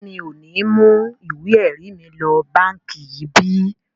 Ṣé mi ò ní mú ìwé ẹ̀rí mi lọ báǹkì yìí bí?